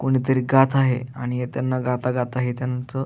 कोणीतरी गात आहे आणि हे त्यांना गाता गाता हे त्यांच--